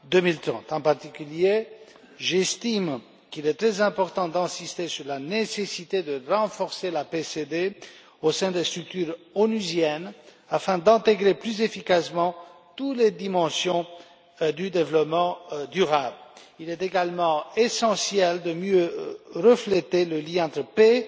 2030. En particulier, j'estime qu'il est très important d'insister sur la nécessité de renforcer la CPD au sein des structures onusiennes afin d'intégrer plus efficacement toutes les dimensions du développement durable. Il est également essentiel de mieux refléter le lien entre paix,